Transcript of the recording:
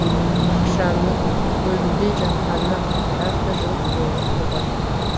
ақшаны бөлінбей жатқанына жарты жыл болды ғой